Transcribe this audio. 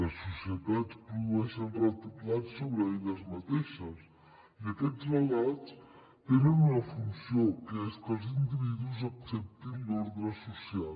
les societats produeixen relats sobre elles mateixes i aquests relats tenen una funció que és que els individus acceptin l’ordre social